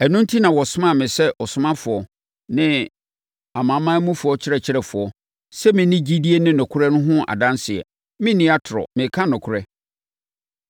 Ɛno enti na wɔsomaa me sɛ ɔsomafoɔ ne amanamanmufoɔ ɔkyerɛkyerɛfoɔ sɛ menni gyidie ne nokorɛ no ho adanseɛ. Merenni atorɔ, mereka nokorɛ!